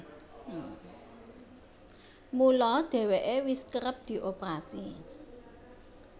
Mula dhèwèké wis kerep dioperasi